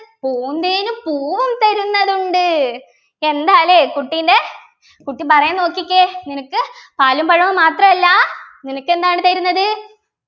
പൂന്തേനും പൂവും തരുന്നതുണ്ട് എന്താല്ലേ കുട്ടിൻ്റെ കുട്ടി പറയുന്ന നോക്കിക്കേ നിനക്ക് പാലും പഴവും മാത്രമല്ല നിനക്കെന്താണ് തരുന്നത്